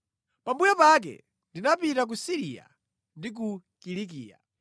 Pambuyo pake ndinapita ku Siriya ndi ku Kilikiya.